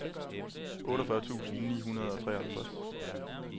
otteogfyrre tusind ni hundrede og treoghalvtreds